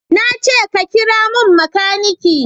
Na ce ka kira mun makaniki!